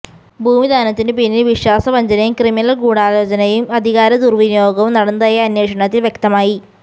ഭൂമിദാനത്തിനുപിന്നിൽ വിശ്വാസവഞ്ചനയും ക്രിമിനൽ ഗൂഢാലോചനയും അധികാര ദുർവിനിയോഗവും നടന്നതായി അന്വേഷണത്തിൽ വ്യക്തമായി